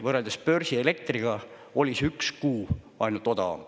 Võrreldes börsielektriga oli see üks kuu ainult odavam.